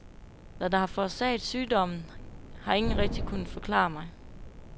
Hvad der har forårsaget sygdommen, har ingen rigtigt kunnet forklare mig.